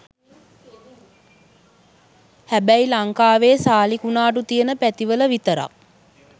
හැබැයි ලංකාවේ සාලි කුනාටු තියෙන පැතිවල විතරක්